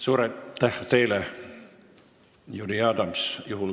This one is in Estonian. Suur aitäh teile, Jüri Adams!